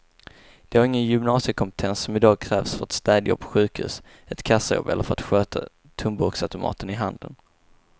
De har ingen gymnasiekompetens som i dag krävs för ett städjobb på sjukhus, ett kassajobb eller för att sköta tomburksautomaterna i handeln.